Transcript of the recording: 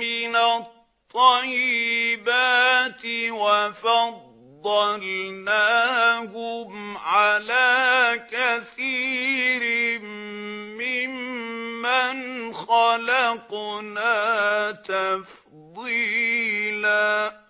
مِّنَ الطَّيِّبَاتِ وَفَضَّلْنَاهُمْ عَلَىٰ كَثِيرٍ مِّمَّنْ خَلَقْنَا تَفْضِيلًا